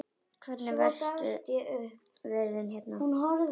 Hvernig eru verstu veðrin hérna?